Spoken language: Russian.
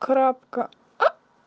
кратко а